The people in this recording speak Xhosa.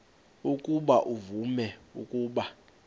ukuba uvume ukuba